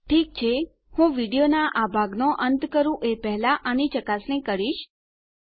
ઠીક છે હું વિડીયોનાં આ ભાગનો અંત કરું એ પહેલા આપણે આની ચકાસણી કરીશું